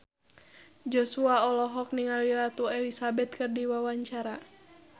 Joshua olohok ningali Ratu Elizabeth keur diwawancara